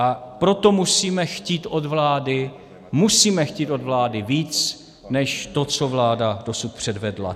A proto musíme chtít od vlády, musíme chtít od vlády víc než to, co vláda dosud předvedla.